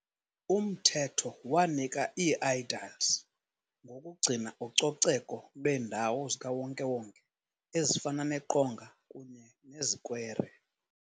Umthetho wanika ii -aediles ngokugcina ucoceko lweendawo zikawonke-wonke ezifana neqonga kunye nezikwere.